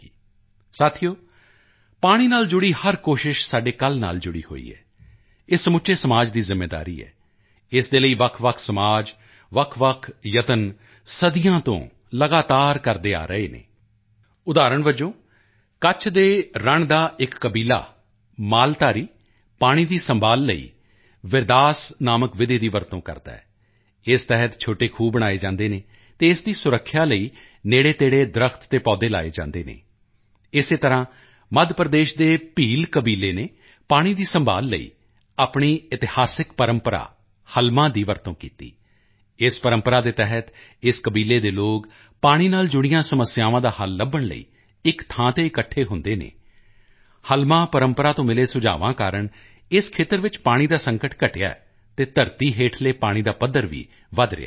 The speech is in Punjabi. ਦੋਸਤੋ ਪਾਣੀ ਨਾਲ ਜੁੜੀ ਹਰ ਕੋਸ਼ਿਸ਼ ਸਾਡੇ ਕੱਲ੍ਹ ਨਾਲ ਜੁੜੀ ਹੋਈ ਹੈ ਇਹ ਸਮੁੱਚੇ ਸਮਾਜ ਦੀ ਜ਼ਿੰਮੇਵਾਰੀ ਹੈ ਇਸ ਦੇ ਲਈ ਵੱਖਵੱਖ ਸਮਾਜ ਵੱਖਵੱਖ ਯਤਨ ਸਦੀਆਂ ਤੋਂ ਲਗਾਤਾਰ ਕਰਦੇ ਆ ਰਹੇ ਹਨ ਉਦਾਹਰਣ ਵਜੋਂ ਕੱਛ ਦੇ ਰਣ ਦਾ ਇੱਕ ਕਬੀਲਾ ਮਾਲਧਾਰੀ ਪਾਣੀ ਦੀ ਸੰਭਾਲ਼ ਲਈ ਵਿਰਦਾਸ ਨਾਮਕ ਵਿਧੀ ਦੀ ਵਰਤੋਂ ਕਰਦਾ ਹੈ ਇਸ ਤਹਿਤ ਛੋਟੇ ਖੂਹ ਬਣਾਏ ਜਾਂਦੇ ਹਨ ਅਤੇ ਇਸ ਦੀ ਸੁਰੱਖਿਆ ਲਈ ਨੇੜੇਤੇੜੇ ਦਰੱਖਤ ਅਤੇ ਪੌਦੇ ਲਗਾਏ ਜਾਂਦੇ ਹਨ ਇਸੇ ਤਰ੍ਹਾਂ ਮੱਧ ਪ੍ਰਦੇਸ਼ ਦੇ ਭੀਲ ਕਬੀਲੇ ਨੇ ਪਾਣੀ ਦੀ ਸੰਭਾਲ਼ ਲਈ ਆਪਣੀ ਇਤਿਹਾਸਿਕ ਪਰੰਪਰਾ ਹਲਮਾ ਦੀ ਵਰਤੋਂ ਕੀਤੀ ਇਸ ਪਰੰਪਰਾ ਦੇ ਤਹਿਤ ਇਸ ਕਬੀਲੇ ਦੇ ਲੋਕ ਪਾਣੀ ਨਾਲ ਜੁੜੀਆਂ ਸਮੱਸਿਆਵਾਂ ਦਾ ਹੱਲ ਲੱਭਣ ਲਈ ਇੱਕ ਥਾਂ ਤੇ ਇਕੱਠੇ ਹੁੰਦੇ ਹਨ ਹਲਮਾ ਪਰੰਪਰਾ ਤੋਂ ਮਿਲੇ ਸੁਝਾਵਾਂ ਕਾਰਨ ਇਸ ਖੇਤਰ ਵਿੱਚ ਪਾਣੀ ਦਾ ਸੰਕਟ ਘਟਿਆ ਹੈ ਅਤੇ ਧਰਤੀ ਹੇਠਲੇ ਪਾਣੀ ਦਾ ਪੱਧਰ ਵੀ ਵਧ ਰਿਹਾ ਹੈ